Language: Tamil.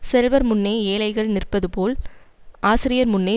செல்வர் முன்னே ஏழைகள் நிற்பது போல் ஆசிரியர் முன்னே